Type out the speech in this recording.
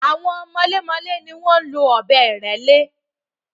Àwọn mọlémọlẹ́ ni wọ́n ń lo ọ̀bẹ́-ìrẹ́lé.